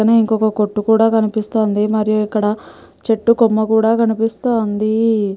పక్కనే ఇంకొక కొట్టుకూడా కనిపిస్తుంది మరియు ఇక్కడ చెట్టు కొమ్మ కూడా కనిపిస్తూంది.